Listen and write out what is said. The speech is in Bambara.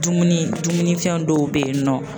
Dumuni dumunifɛn dɔw bɛ yen nɔ